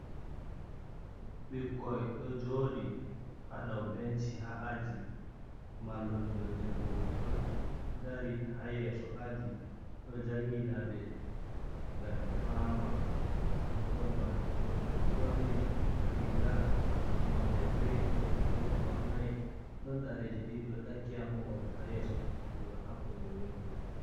Ɓikkoi ɗo joɗi ha dow benci ha aji, mallumjo debbo ɗo dari ha yeso aji ɗo jangina be ngam ɓe fama, ɓikkoi man woɓɓe ɗo ɓorni riga nonde girin, woɓɓe bo ɓornai, ɗon ɗareje ɗiɗi ɗo takki ha mohol ha yeso aji man hakombi windo.